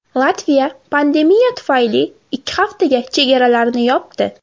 Latviya pandemiya tufayli ikki haftaga chegaralarini yopdi.